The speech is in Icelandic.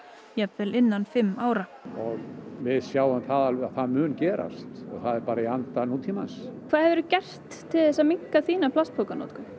jafnvel innan fimm ára það mun gerast og það er bara í anda nútímans hvað hefurðu gert til að minnka þína plastpokanotkun